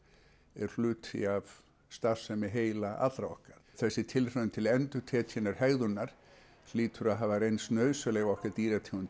er hluti af starfsemi heila allra okkar þessi tilraun til endurtekinnar hegðunar hlýtur að hafa reynst okkar dýrategund